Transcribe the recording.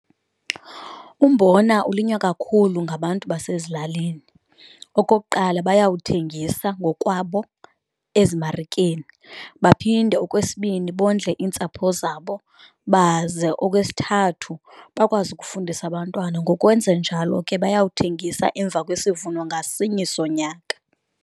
Umbona ulinywa kakhulu ngabantu basezilalini. Okokuqala, bayawuthengisa ngokwabo ezimarikeni, baphinde okwesibini bondle iintsapho zabo, baze okwesithathu bakwazi ukufundisa abantwana ngokwenza njalo ke bayawuthengisa emva kwesivuno ngasinye sonyaka.